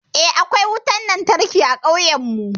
Eh, akwai wutan lantarki a ƙauyan mu.